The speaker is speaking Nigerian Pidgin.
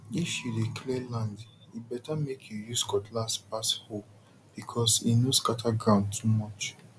if you dey clear land e better make you use cutlass pass hoe because e no scatter ground too much